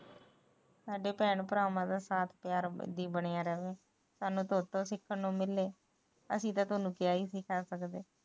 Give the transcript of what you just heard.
ਸਾਡੇ ਭੈਣ ਭਰਾਵਾਂ ਦਾ ਸਾਥ ਇਵੇ ਬਣਿਆ ਰਹੇ ਸਾਨੂੰ ਥੋਤੋ ਸਿਖਣ ਨੂੰ ਮਿਲੇ ਅਸੀ ਤਾ